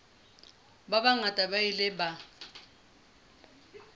ba bangata ba ile ba